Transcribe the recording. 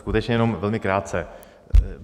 Skutečně jenom velmi krátce.